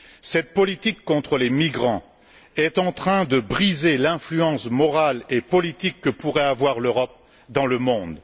Cette politique contre les migrants est en train de briser l'influence morale et politique que pourrait avoir l'Europe dans le monde.